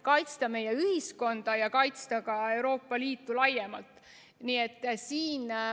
Kaitsta meie ühiskonda ja kaitsta ka Euroopa Liitu laiemalt.